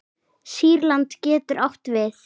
Sýrland getur átt við